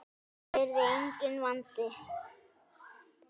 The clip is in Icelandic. Það yrði enginn vandi.